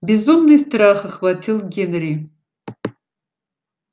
безумный страх охватил генри